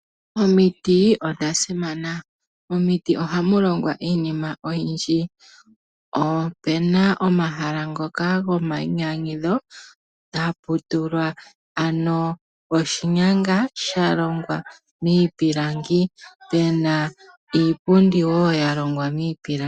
Omiti odha simana. Momiti ohamu longwa iinima oyindji. Opu na omahala ngoka gomainyanyudho hapu tulwa oshinyanga sha longwa miipilangi pu na iipundi woo ya longwa miipilangi.